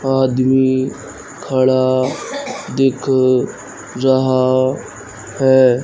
आदमी खड़ा दिख रहा हैं।